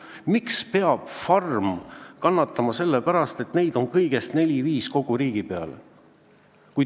Miks peab mõni farm kannatama selle pärast, et neid farme on kõigest neli-viis kogu riigi peale?